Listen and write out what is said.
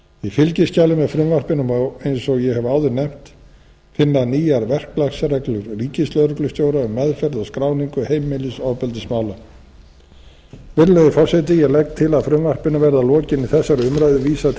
í fylgiskjali með frumvarpinu má eins og ég hef áður nefnt finna nýjar verklagsreglur ríkislögreglustjóra um meðferð og skráningu heimilisofbeldismála virðulegi forseti ég legg til að frumvarpinu verði að lokinni þessari umræðu vísað til